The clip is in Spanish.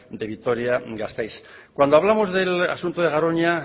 de vitoria gasteiz cuando hablamos del asunto de garoña